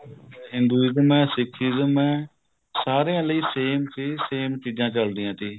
Hinduism ਹੈ Sikhism ਹੈ ਸਾਰਿਆਂ ਲਈ same ਸੀ same ਚੀਜ਼ਾਂ ਚੱਲਦੀਆਂ ਤੀ